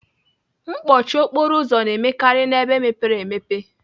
Mkpọchi okporo ụzọ na-emekarị n'ebe mepere emepe.